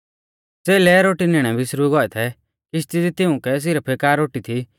च़ेलै रोटी निणै बिसरुई गौऐ थै किशती दी तिउंकै सिरफ एका रोटी थी